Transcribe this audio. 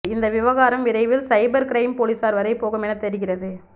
இந்த விவகாரம் விரைவில் சைபர் க்ரைம் போலீசார் வரை போகும் என தெரிகிறது